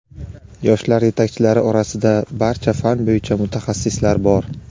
yoshlar yetakchilari orasida barcha fan bo‘yicha mutaxassislar bor.